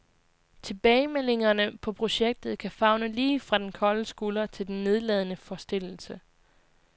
Tilbagemeldingerne på projektet kan favne lige fra den kolde skulder til den nedladende forstillelse.